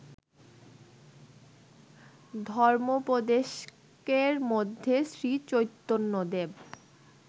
ধর্মোপদেশকের মধ্যে শ্রীচৈতন্যদেব